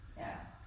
Ja